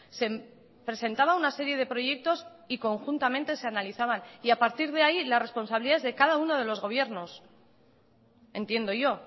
se presentaba una serie de proyectos y conjuntamente se analizaban y a partir de ahí la responsabilidad es de cada uno de los gobiernos entiendo yo